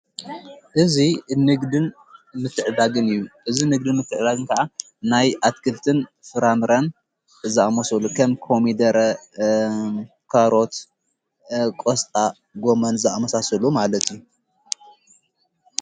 እዙይ እንግድን ምትዕዳግን እዩ ።እዝ ንግድን ምትዕዳግንከዓ ናይ ኣትክድትን ፍራንረን ዛመሶሉ ኸም ኮሚደረ ካሮት ቆስጣ ጎመን ዛኣመሳሰሉ ማለት እዩ።